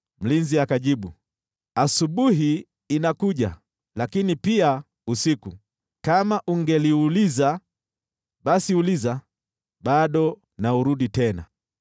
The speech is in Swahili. Mlinzi anajibu, “Asubuhi inakuja, lakini pia usiku. Kama ungeliuliza, basi uliza; bado na urudi tena.”